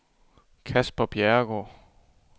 Casper Bjerregaard